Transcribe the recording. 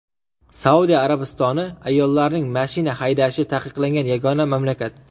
Saudiya Arabistoni ayollarning mashina haydashi taqiqlangan yagona mamlakat.